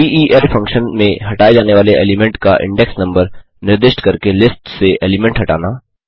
del function में हटाये जाने वाले एलीमेंट का इंडेक्स नम्बर निर्दिष्ट करके लिस्ट्स से एलीमेंट हटाना